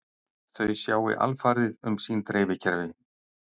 Þau sjái alfarið um sín dreifikerfi